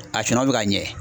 A sɔngɔ bɛ ka ɲɛ